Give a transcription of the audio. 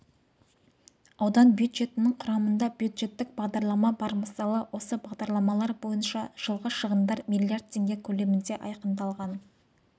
аудан бюджетінің құрамында бюджеттік бағдарлама бар мысалы осы бағдарламалар бойынша жылғы шығындар млрд теңге көлемінде айқындалған